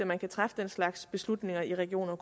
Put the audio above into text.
man kan træffe den slags beslutninger i regioner